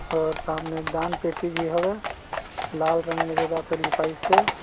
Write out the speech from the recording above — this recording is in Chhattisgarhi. -- और सामने दान पेटी भी होगा लाल रंग में --]